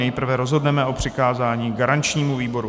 Nejprve rozhodneme o přikázání garančnímu výboru.